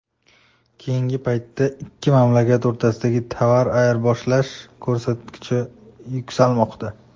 Keyingi paytda ikki mamlakat o‘rtasidagi tovar ayirboshlash ko‘rsatkichi yuksalmoqda.